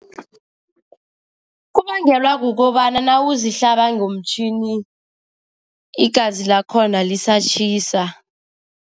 Kubangelwa kukobana nawuzihlaba ngomtjhini, igazi lakhona lisatjhisa.